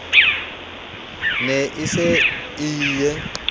ne e se e ie